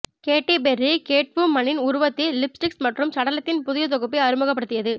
கேட்டி Perry கேட்வுமனின் உருவத்தில் lipsticks மற்றும் சடலத்தின் புதிய தொகுப்பை அறிமுகப்படுத்தியது